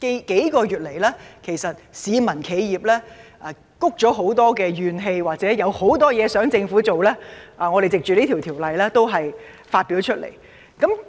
幾個月來，市民和企業都積累了很多怨氣，或有很多事情想政府做，我們均藉着在《條例草案》的辯論中表達出來。